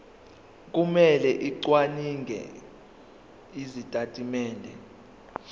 kumele acwaninge izitatimende